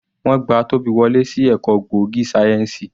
Wọ́n gba Tobi wọlé sí ẹ̀kọ́ gbòógì sáyẹ́ǹsì.